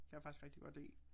Kan jeg faktisk rigtig godt lide